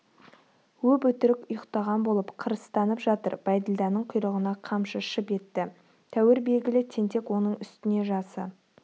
өп-өтірік ұйықтаған болып қырыстанып жатыр бәйділданың құйрығына қамшы шып етті тәуір белгілі тентек оның үстіне жасы